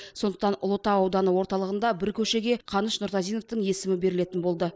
сондықтан ұлытау ауданы орталығында бір көшеге қаныш нұртазиновтың есімі берілетін болды